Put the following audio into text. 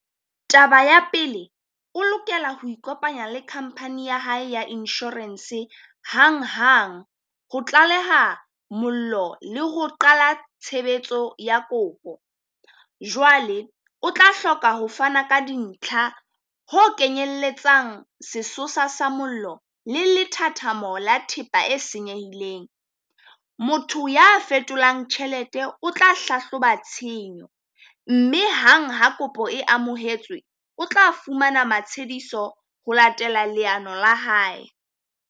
Taba ya pele, o lokela ho ikopanya le company ya hae ya insurance hang hang ho tlaleha mollo le ho qala tshebetso ya kopo. Jwale o tla hloka ho fana ka dintlha ho kenyelletsang sesosa sa mollo le lethathamo le thepa e senyehileng. Motho ya fetolang tjhelete o tla hlahloba tshenyo, mme hang ha kopo e amohetswe, o tla fumana matshediso ho latela leano la hae.